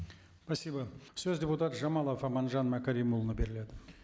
спасибо сөз депутат жамалов аманжан мәкәрімұлына беріледі